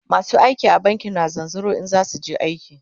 masu aiki a banki na zanzaro in zasuje aiki